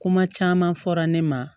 Kuma caman fɔra ne ma